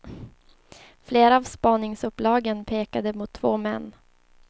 Flera av spaningsuppslagen pekade mot två män.